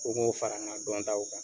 Ko n k'o fara n ka dɔn taw kan.